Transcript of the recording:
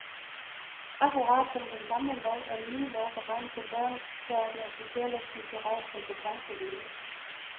Akkurat som den gamle lov er den nye lov beregnet på børn, der opnår social og kulturel kompetence hjemme.